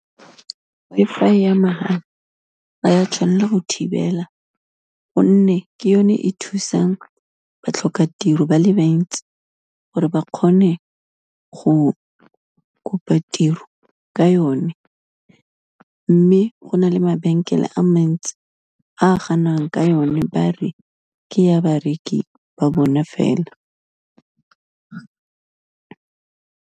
Wi-Fi ya mahala ga ya tshwanela go thibela, gonne ke yone e thusang batlhokatiro ba le bantsi, gore ba kgone go kopa tiro ka yone, mme go na le mabenkele a mantsi a ganang ka yone, ba re ke ya bareki ba bona fela.